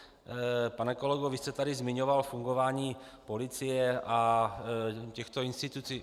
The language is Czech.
Pane kolego, vy jste tady zmiňoval fungování policie a těchto institucí.